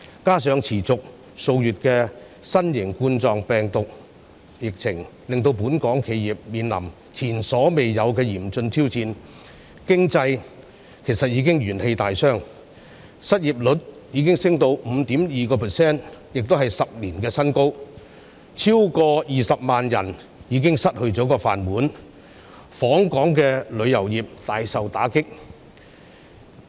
加上持續數月的新型冠狀病毒疫情，令本港企業面臨前所未有的嚴峻挑戰，經濟元氣大傷，失業率升至 5.2%， 是10年新高，超過20萬人失去"飯碗"，訪港旅遊業大受打擊。